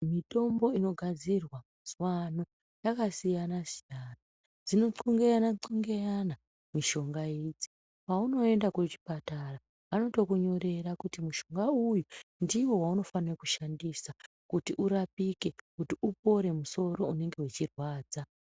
Mitombo inogadzirwaazuwano yakasiyana siyana, dzinothlungeyana thlungeyana mishonga idzi, paunoenda kuchipatara vanotokunyorera kuti mushonga uyu ndiwo waunofanira kushandisa kuti urapike ,kuti upore musoro unenge weirwadza.